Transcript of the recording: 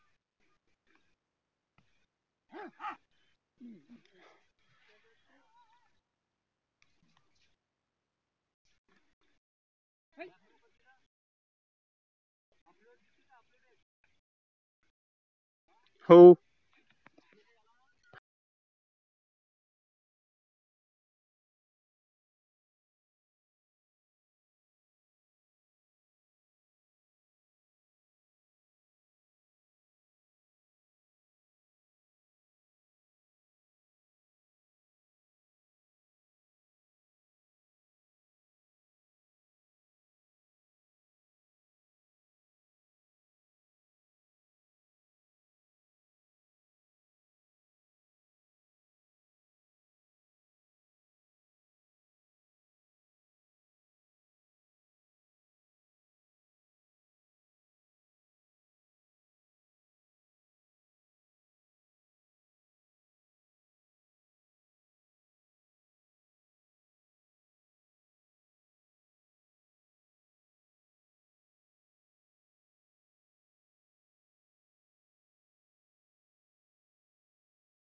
हो.